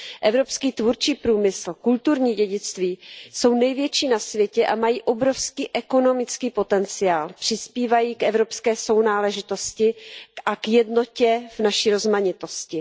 Evropský tvůrčí průmysl, kulturní dědictví jsou největší na světě a mají obrovský ekonomický potenciál, přispívají k evropské sounáležitosti a k jednotě v naší rozmanitosti.